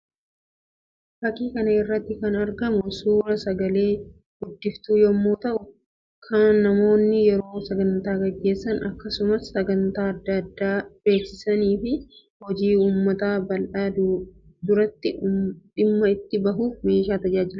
Fakkii kana irratti kan argamu suuraa sagalee guddiftuu yammuu ta'u; kan namoonni yeroo sagantaa gaggeessan akkasumas sagantaa addaa addaa beeksisanii fi hojij ummata bal'aa duratti dhimma itti bahuuf meeshaa tajaajiluu dha.